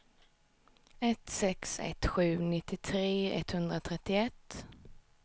ett sex ett sju nittiotre etthundratrettioett